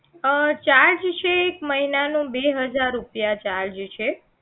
અ charge છે એક મહિનાનો બે હજાર રૂપિયા charge છે